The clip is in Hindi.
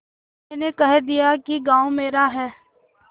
मैंने कह दिया कि गॉँव मेरा है